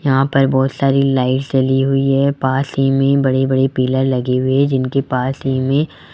यहां पर बहोत सारी लाइट जली हुई है पास ही में बड़ी बड़ी पिलर लगे हुए हैं जिनके पास ही में --